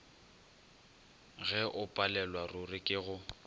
ge o palelwaruri ke go